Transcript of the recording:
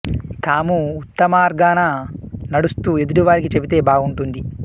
తాము ఉత్తమ మార్గాన నడుస్తూ ఎదుటి వారికి చెబితే బాగుంటుంది